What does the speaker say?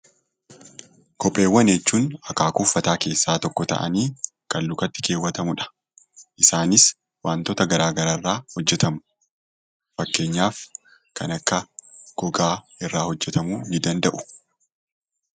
Kopheewwan jechuun akaakuu uffataa keessaa tokko ta'anii kan lukatti kaawwatamudha. Isaanis waantota gara garaa irraa hojjetamu. Fakkeenyaaf kan akka gogaa irraa hojjetamuu ni danda’u.